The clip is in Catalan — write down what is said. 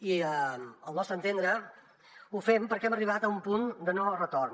i al nostre entendre ho fem perquè hem arribat a un punt de no retorn